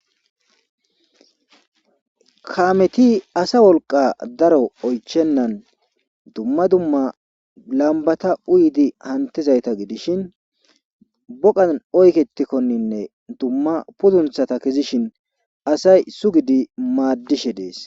kameti asa wolqa daro oychennan dumma dumma lambata uyidi hantizayta gidishin boqan oyketikkoninne dumma pudunthata kezishin asay sugidi maaddishe dees